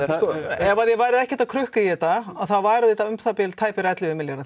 ef þið væruð ekkert að krukka í þetta þá væru þetta um það bil ellefu milljarðar